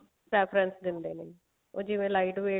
preference ਦਿੰਦੇ ਨੇ ਉਹ ਜਿਵੇਂ lite weight